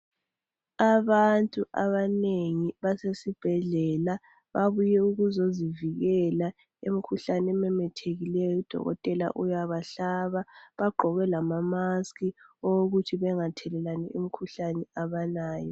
Abantu abanengi basesibhedlela babuye ukuzozivikela emkhuhlaneni ememethekileyo udokotela ubayahlaba bagqoke lamamask eyokuthi bengathelelani imikhuhlane abalayo.